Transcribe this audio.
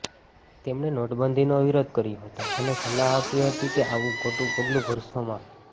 તેમણે નોટબંધીનો વિરોધ કર્યો હતો અને સલાહ આપી હતી કે આવું ખોટું પગલું ભરશો મા